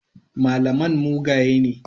Malaman mugaye ne.